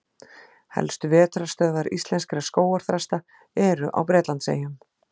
Helstu vetrarstöðvar íslenskra skógarþrasta eru á Bretlandseyjum.